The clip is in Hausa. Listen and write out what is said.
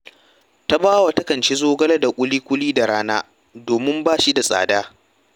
Tabawa takan ci zogale da ƙuluƙi da rana, domin ba shi da tsada